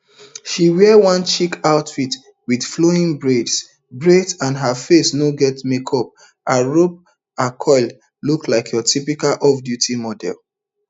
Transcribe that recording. she wear one chic outfit wit flowing braids braids and her face no get makeup arop akol look like your typical offduty model